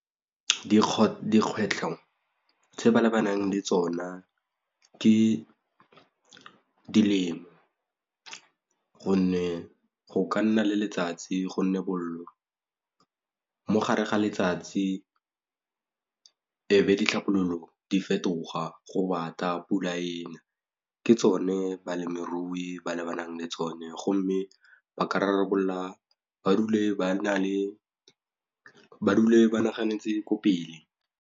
Dikgwetlho tse ba lebaneng le tsona ke dilemo gonne go ka nna le letsatsi gonne bollo mogare ga letsatsi e be ditlhabololo di fetoga go bata pula ena ke tsone balemirui ba lebanang le tsone go mme ba ka rarabolla ba dule ba naganetse ko pele.